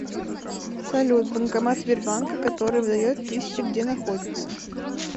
салют банкомат сбербанка который выдает тысячи где находится